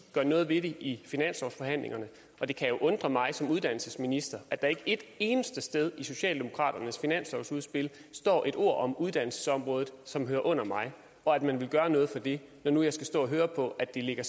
gør noget ved det i finanslovsforhandlingerne og det kan jo undre mig som uddannelsesminister at der ikke et eneste sted i socialdemokraternes finanslovsudspil står et ord om uddannelsesområdet som hører under mig og at man vil gøre noget for det når nu jeg skal stå og høre på at det ligger